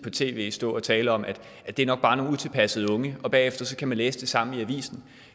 på tv stå at tale om at det nok er nogle utilpassede unge og man bagefter kan læse det samme i avisen